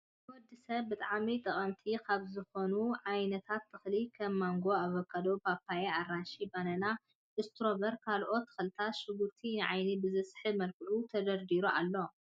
ንወዲሰብ ብጣዕሚ ጠቀምቲ ካብ ዝኮኑ ዓይነት ተክልታትን ከም ማንጎ፣ ኣቨካዶ፣ ፓፓያ ፣ኣራንሺ፣ ባናናን ፣እስትሮበሪን ካልኦት ተክልታትን ሽጉርትን ንዓይኒ ብዝስሕብ መልክዑ ተደርዲሩ ኣሎ ።